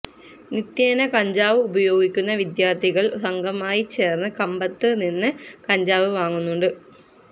നിത്യേന കഞ്ചാവ് ഉപയോഗിക്കുന്ന വിദ്യാര്ത്ഥികള് സംഘമായി ചേര്ന്ന് കമ്പത്ത് നിന്ന് കഞ്ചാവ് വാങ്ങുന്നുണ്ട്